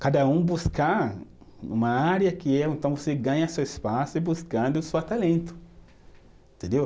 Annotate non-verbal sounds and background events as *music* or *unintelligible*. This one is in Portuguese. Cada um buscar uma área que é, então você ganha seu espaço e buscando *unintelligible* talento, entendeu?